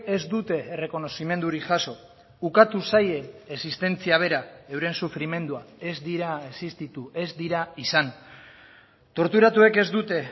ez dute errekonozimendurik jaso ukatu zaie existentzia bera euren sufrimendua ez dira existitu ez dira izan torturatuek ez dute